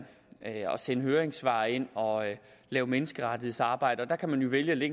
sende høringssvar ind og lave menneskerettighedsarbejde der kan man jo vælge at